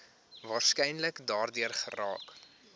waarskynlik daardeur geraak